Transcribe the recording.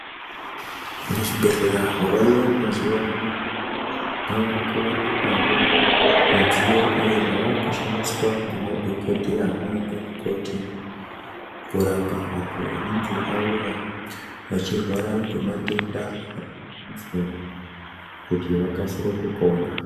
Muzvibhedhlera zvavayo mazuva ano kwavakuwanikwawo midziyo iyo yavakushandiswa nemadhokoteya nana mukoti kurapa vantu vanenge vauya vachirwara nematenda akasiyana-siyana kuti vakasire kupona.